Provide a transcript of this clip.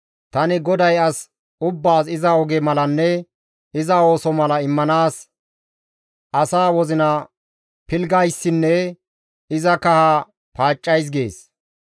Tani GODAY as ubbaas iza oge malanne iza ooso mala immanaas asaa wozina pilggayssinne iza kaha paaccays» gees.